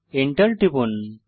Enter টিপুন